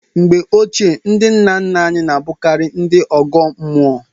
Mgbe ochie, ndị nna nna anyị na-abụkarị ndị ọgọ mmụọ.